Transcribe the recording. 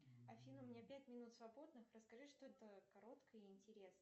афина у меня пять минут свободных расскажи что то короткое и интересное